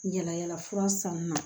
Yala yalafura sannunna